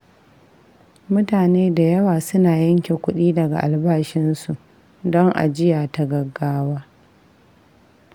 Mutane da yawa suna yanke kudi daga albashinsu don ajiya ta gaggawa.